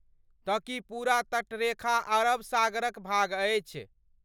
तँ की पूरा तटरेखा अरब सागरक भाग अछि?